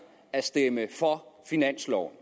at stemme for finansloven